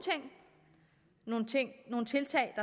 ting nogle tiltag